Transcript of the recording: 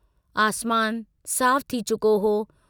आसमान साफ थी चुको हो।